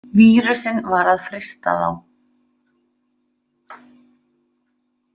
Vírusinn var að frysta þá!